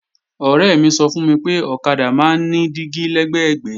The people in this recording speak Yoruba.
Ọ̀rẹ́ mi sọ fún mi pé ọ̀kadà máa ń ní dígí lẹ́gbẹ̀gbẹ́